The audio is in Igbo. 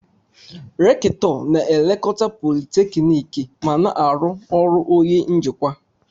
Recktọ na-elekọta politekniiki ma na-arụ ọrụ onye njikwa.